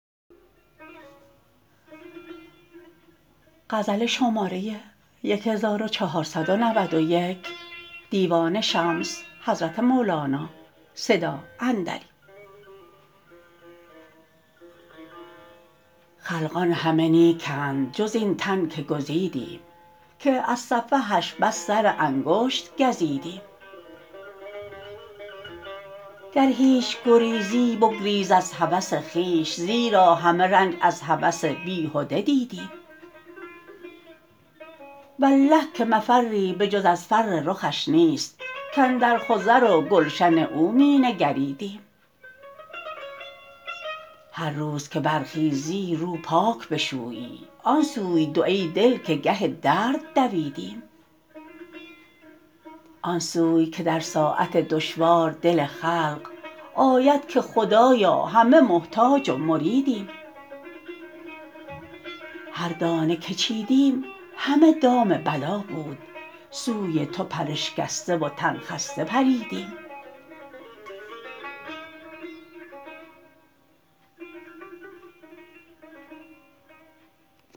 خلقان همه نیکند جز این تن که گزیدیم که از سفهش بس سر انگشت گزیدیم گر هیچ گریزی بگریز از هوس خویش زیرا همه رنج از هوس بیهده دیدیم والله که مفری به جز از فر رخش نیست کاندر خضر و گلشن او می نگریدیم هر روز که برخیزی رو پاک بشویی آن سوی دو ای دل که گه درد دویدیم آن سوی که در ساعت دشوار دل خلق آید که خدایا همه محتاج و مریدیم هر دانه که چیدیم همه دام بلا بود سوی تو پراشکسته و تن خسته پریدیم